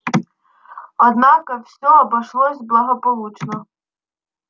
однако всё обошлось благополучно